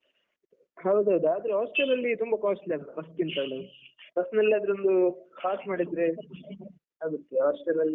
ಹೌದೌದು, ಆದ್ರೆ hostel ಅಲ್ಲಿ ತುಂಬ costly ಅಲ್ಲ, bus ಕಿಂತನೂ bus ಅಲ್ಲಾದ್ರೆ ಒಂದು pass ಮಾಡಿದ್ರೆ ಆಗುತ್ತೆ, hostel ಅಲ್ಲಿ.